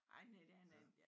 Ej men det er da